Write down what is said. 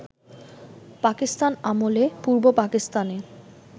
পাকিস্তান আমলে পূর্ব পাকিস্তানে